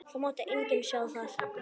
Það mátti enginn sjá það.